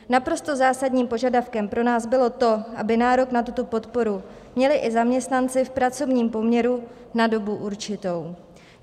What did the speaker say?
Naprosto zásadním požadavkem pro nás bylo to, aby nárok na tuto podporu měli i zaměstnanci v pracovním poměru na dobu určitou.